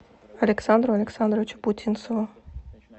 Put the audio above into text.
александру александровичу путинцеву